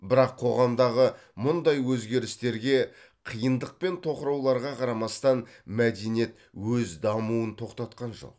бірақ қоғамдағы мұндай өзгерістерге қиындық пен тоқырауларға қарамастан мәдениет өз дамуын тоқтатқан жоқ